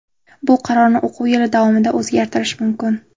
Bu qarorni o‘quv yili davomida o‘zgartirish mumkin.